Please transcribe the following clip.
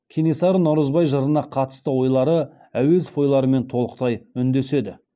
кенесары наурызбай жырына қатысты ойлары әуезов ойларымен толықтай үндеседі